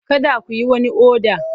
Kada ku yi wani oda!